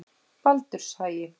Baldurshagi